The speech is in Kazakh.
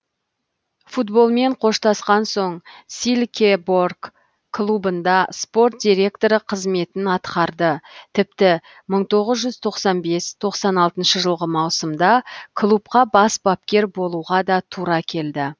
футболмен қоштасқан соң силькеборг клубында спорт директоры қызметін атқарды тіпті мың тоғыз жүз тоқсан бес тоқсан алтыншы жылғы маусымда клубқа бас бапкер болуға да тура келді